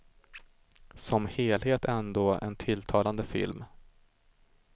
Som helhet ändå en tilltalande film.